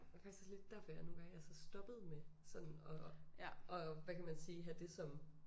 Og det faktisk også lidt derfor jeg nogen gange altså stoppede med sådan at at hvad kan man sige at have det som